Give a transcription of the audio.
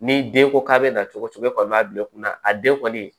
Ni den ko k'a be na cogo cogo e kɔni b'a bila i kunna a den kɔni